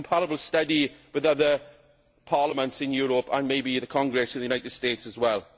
a comparable study with other parliaments in Europe and maybe the Congress of the United States as well.